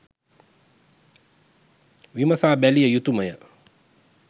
විමසා බැලිය යුතුමය.